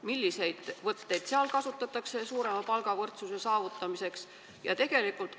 Milliseid võtteid seal suurema palgavõrdsuse saavutamiseks kasutatakse?